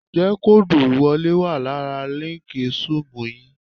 Ǹjẹ́ kóòdù ìwọlé wà lára líǹkì Zúùmù yìí?